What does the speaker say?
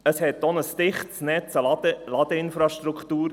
Es gab auch ein dichtes Netz an Ladeinfrastruktur.